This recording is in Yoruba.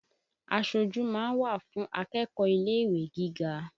Aṣojú ma ń wà fùn akẹ́kọ́ọ̀ ilé-ìwé gíga